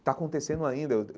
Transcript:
Está acontecendo ainda eu.